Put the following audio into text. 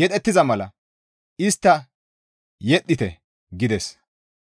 yedhettiza mala intte istta yedhettite» gides.